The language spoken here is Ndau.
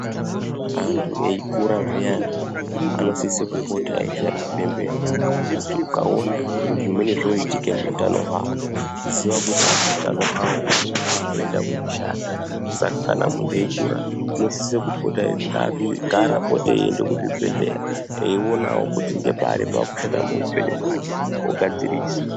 Anhu eikura zviyani anosise kupora eichairwe bembera, kuti ukaona zviro zvimweni zvoitika muutano hwavo, ziya kuti utano hwavo hunenge hwakuende kooshata. Saka munhu eikura ngaapote eienda kuzvibhedhlera, eionawo kuti ngepari paakushata muupenyu hwake ogadzirisa.